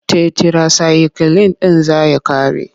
Tetirasayikilin ɗin zai ƙare.